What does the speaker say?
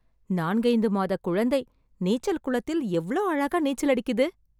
நான்கைந்து மாதக் குழந்தை, நீச்சல் குளத்தில எவ்ளோ அழகா நீச்சலடிக்குது...